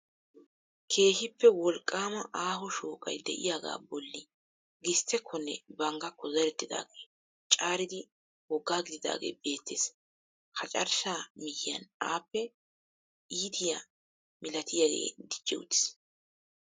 Keehippe wolqqaama aaho shooqay de'iyagaa bolli gisttekkonne bang gakkoo zerettidaagee caaridi woggaa gididaagee beettees. Ha carshshaa miyyiyan appe iitiya milatiyagee dicci uttiis.